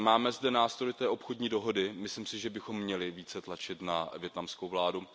Máme zde nástroj té obchodní dohody, myslím si, že bychom měli více tlačit na vietnamskou vládu.